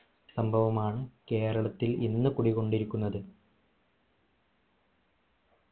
സംഭവമാണ് കേരളത്തിൽ ഇന്ന് കുടികൊണ്ടിരിക്കുന്നത്